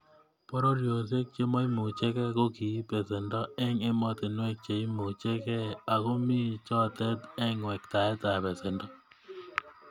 Pororiosiek chemoimuchegei ko kiib besendo eng emotinwek che imuchegei ako mi cholet eng wektaetab besenoto